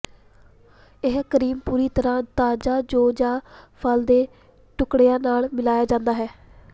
ਇਹ ਕਰੀਮ ਪੂਰੀ ਤਰ੍ਹਾਂ ਤਾਜ਼ਾ ਜੌਂ ਜਾਂ ਫਲ ਦੇ ਟੁਕੜਿਆਂ ਨਾਲ ਮਿਲਾਇਆ ਜਾਂਦਾ ਹੈ